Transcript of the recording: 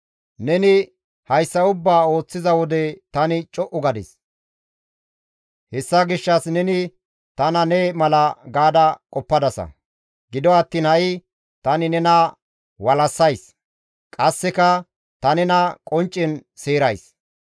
Neni hayssa ubbaa ooththiza wode tani co7u gadis; hessa gishshas neni tana ne mala gaada qoppadasa; gido attiin ha7i tani nena walassays; qasseka ta nena qonccen seerays.